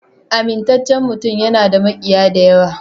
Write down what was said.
Amintaccen mutum yana da makiya da yawa.